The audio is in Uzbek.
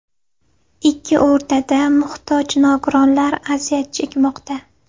Ikki o‘rtada muhtoj nogironlar aziyat chekmoqda.